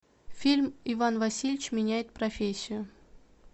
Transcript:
фильм иван васильевич меняет профессию